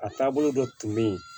A taabolo dɔ tun bɛ yen